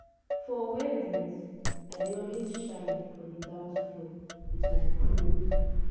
for weddings i dey always shine for the dance floor with my crew.